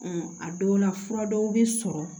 a dɔw la fura dɔw bɛ sɔrɔ